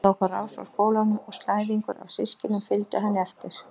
Hún tók á rás frá skólanum og slæðingur af systkinum fylgdi henni eftir.